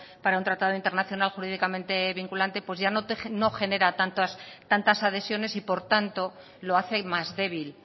para un tratado internacional jurídicamente vinculante pues ya no genera tantas adhesiones y por tanto lo hace más débil